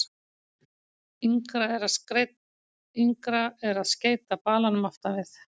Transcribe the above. Yngra er að skeyta balanum aftan við.